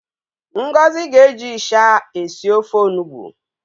Ngozi ga-eji ịsha esi ofe onugbu.